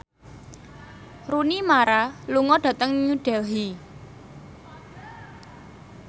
Rooney Mara lunga dhateng New Delhi